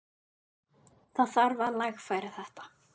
Það þarf að lagfæra þetta.